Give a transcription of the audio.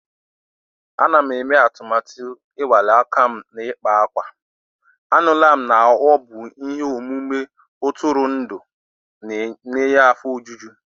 Ana m eme atụmatụ ịnwale aka m n'ịkpa akwa. Anụla m na ọ bụ ihe omume ntụrụndụ na-enye afọ ojuju.